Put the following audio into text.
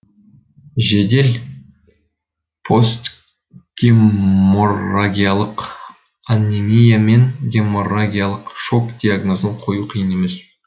жедел постгеморрагиялық анемия мен геморрагиялық шок диагнозын қою қиын емес